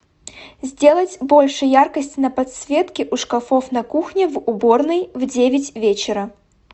сделать больше яркость на подсветке у шкафов на кухне в уборной в девять вечера